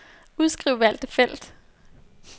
Udskriv valgte felt.